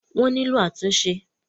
wọ́n nílò àtúnṣe.